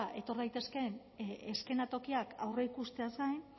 etor daitezkeen eskenatokiak aurreikusteaz gain